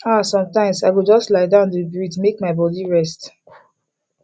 ah sometimes i go just lie down dey breathe make my body rest